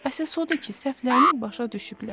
Əsas odur ki, səhvlərini başa düşüblər.